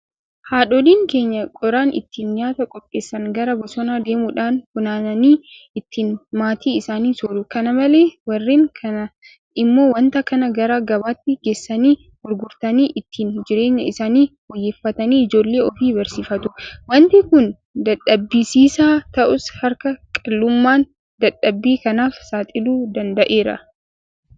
Haadholiin keenya qoraan ittiin nyaata qopheessan gara bosonaa deemuudhaan funaananii ittiin maatii isaanii sooru. Kana malees warreen kaan immoo waanta kana gara gabaatti geessanii gurguratanii ittiin jireenya isaanii fooyyeffatanii ijoollee ofii barsiifatu. Waanti kun dadhabsiisaa ta'us harka qal'ummaan dadhabbii kanaaf saaxiluu danda'eera.